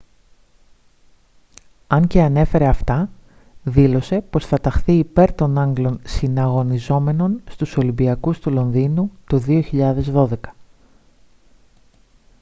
αν και ανέφερε αυτά δήλωσε πως θα ταχθεί υπέρ των άγγλων συναγωνιζόμενων στους ολυμπιακούς του λονδίνου το 2012